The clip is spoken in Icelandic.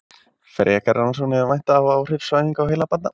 Frekari rannsókna er að vænta á áhrif svæfinga á heila barna.